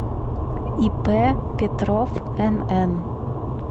ип петров нн